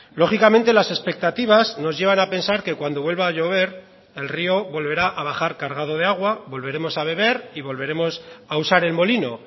lógicamente las expectativas nos llevan a pensar que cuando vuelva a llover el río volverá a bajar cargado de agua volveremos a beber y volveremos a usar el molino